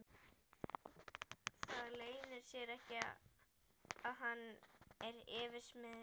Það leynir sér ekki að hann er yfirsmiður.